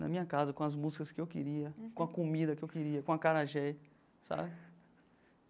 Na minha casa, com as músicas que eu queria, com a comida que eu queria, com acarajé, sabe?